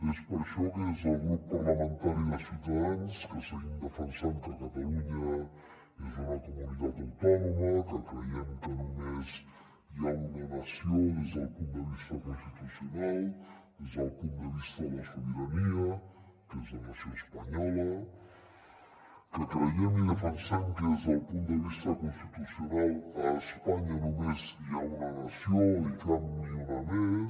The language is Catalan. és per això que des del grup parlamentari de ciutadans que seguim defensant que catalunya és una comunitat autònoma que creiem que només hi ha una nació des del punt de vista constitucional des del punt de vista de la sobirania que és la nació espanyola que creiem i defensem que des del punt de vista constitucional a espanya només hi ha una nació i cap ni una més